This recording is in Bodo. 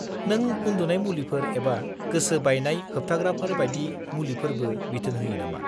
नों उन्दुनाय मुलिफोर एबा गोसो-बायनाय-होबथाग्राफोर बायदि मुलिफोरबो बिथोन होयो नामा?